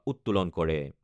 উত্তোলন কৰে।